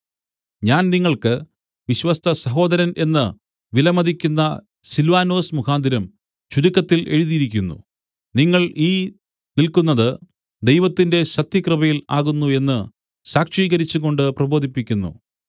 ഞാൻ നിങ്ങൾക്ക് വിശ്വസ്തസഹോദരൻ എന്നു വില മതിക്കുന്ന സില്വാനൊസ് മുഖാന്തരം ചുരുക്കത്തിൽ എഴുതിയിരിക്കുന്നു നിങ്ങൾ ഈ നില്ക്കുന്നത് ദൈവത്തിന്റെ സത്യകൃപയിൽ ആകുന്നു എന്നു സാക്ഷീകരിച്ചും കൊണ്ട് പ്രബോധിപ്പിക്കുന്നു